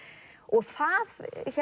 það